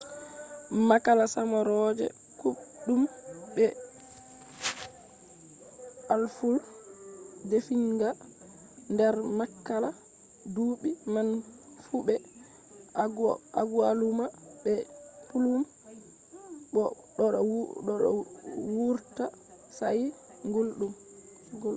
makala samarooje kuubɗum be aful defiinga nder makala duɓɓi man fu be agualuma be plum bo ɗo vurta sa’i gulɗum